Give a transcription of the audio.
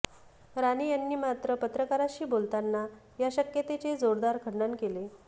राणे यांनी मात्र पत्रकारांशी बोलताना या शक्यतेचे जोरदार खंडण केले